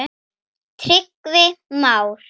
Tryggvi Már.